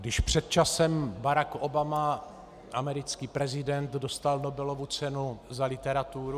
Když před časem Barack Obama, americký prezident, dostal Nobelovu cenu za literaturu...